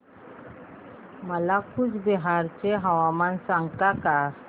मला कूचबिहार चे हवामान सांगता का